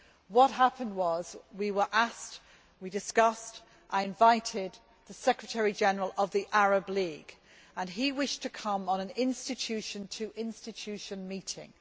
What happened was that we were asked, we discussed the matter and I invited the Secretary General of the Arab League. He wished to come on an institution to institution meeting.